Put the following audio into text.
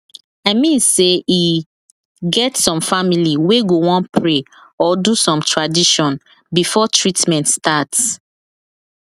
i mean sey e get some family wey go wan pray or do some tradition before treatment start